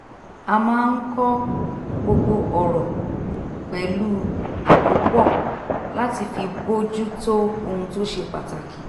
a máa ń kọ́ gbogbo ọ̀rọ̀ pẹ̀lú àkópọ̀ láti fi bójú tó ohun tó ṣe pàtàkì